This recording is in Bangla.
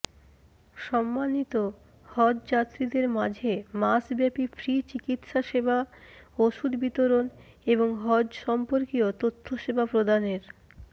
সম্মানিত হজ্ব যাত্রীদের মাঝে মাসব্যাপী ফ্রি চিকিৎসাসেবা ওষুধ বিতরণ এবং হজ্ব সর্ম্পকীয় তথ্যসেবা প্রদানের